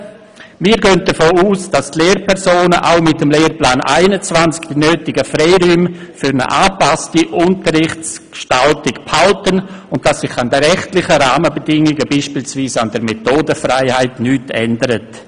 Wir gehen davon aus, dass die Lehrpersonen auch mit dem Lehrplan 21 die nötigen Freiräume für eine angepasste Unterrichtsgestaltung behalten, und dass sich an den rechtlichen Rahmenbedingungen, beispielsweise an der Methodenfreiheit, nichts ändert.